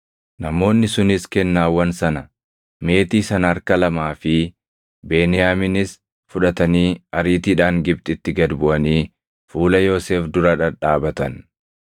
Namoonni sunis kennaawwan sana, meetii sana harka lamaa fi Beniyaaminis fudhatanii ariitiidhaan Gibxitti gad buʼanii fuula Yoosef dura dhadhaabatan.